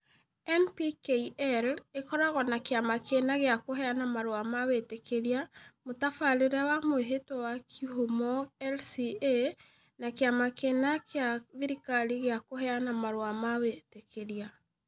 NPKI ĩkoragwo na kĩama kĩna gĩa kũheana marũa ma wĩtĩkĩria (Mũtabarĩre wa Mwĩhĩtwa wa Kĩhumo - RCA) na kĩama kĩna kĩa thirikari gĩa kũheana marũa ma wĩtĩkĩria.